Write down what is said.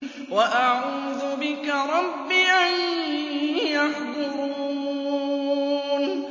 وَأَعُوذُ بِكَ رَبِّ أَن يَحْضُرُونِ